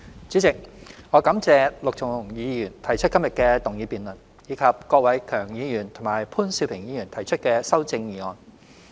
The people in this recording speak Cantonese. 主席，我感謝陸頌雄議員提出今日的動議辯論，以及郭偉强議員和潘兆平議員提出的修正案。